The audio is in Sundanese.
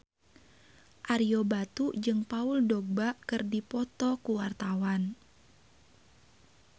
Ario Batu jeung Paul Dogba keur dipoto ku wartawan